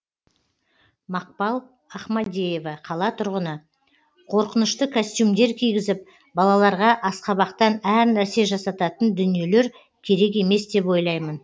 мақпал ахмадеева қала тұрғыны қорқынышты костюмдер кигізіп балаларға асқабақтан әр нәрсе жасататын дүниелер керек емес деп ойлаймын